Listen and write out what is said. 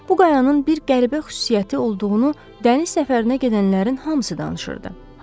Bu qayanın bir qəribə xüsusiyyəti olduğunu dəniz səfərinə gedənlərin hamısı danışırdı.